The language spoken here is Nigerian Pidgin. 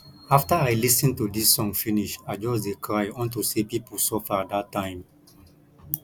after i lis ten to dis song finish i just dey cry unto say people suffer dat time